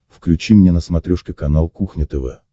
включи мне на смотрешке канал кухня тв